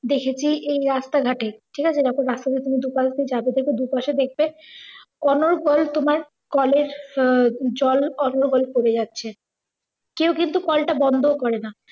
দেখেছি এই রাস্তা ঘাটে ঠিকাছে। যখন রাস্তা দিয়ে তুমি দুপাশ দিয়ে যাবে দেখবে দুপাশে দেখবে অনর্গল তোমার কলের আহ জল অনর্গল পরে যাচ্ছে। কেউ কিন্তু কলটা বন্ধ ও করেনা।